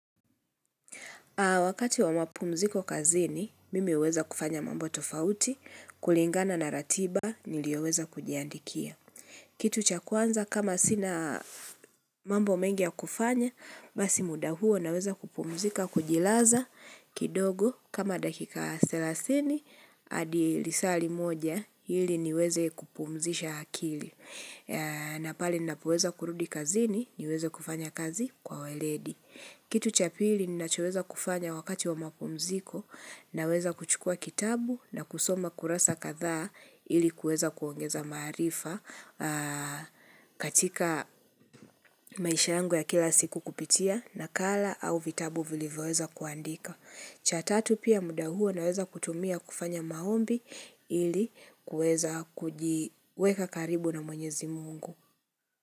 Wakati wa mapumziko kazini, mimi huweza kufanya mambo tofauti, kulingana na ratiba, niliyoweza kujiandikia. Kitu cha kwanza kama sina mambo mengi ya kufanya, basi muda huo naweza kupumzika kujilaza kidogo kama dakika selasini, hadi lisaali moja, hili niweze kupumzisha akili. Napale nina poweza kurudi kazini, niweze kufanya kazi kwa waledi. Kitu cha pili nina choweza kufanya wakati wa mapumziko na weza kuchukua kitabu na kusoma kurasa kathaa ili kuweza kuongeza maarifa katika maisha yangu ya kila siku kupitia na kala au vitabu vilivyoweza kuandika. Cha tatu pia muda huo na weza kutumia kufanya maombi ili kuweza kujiweka karibu na mwenyezi mungu.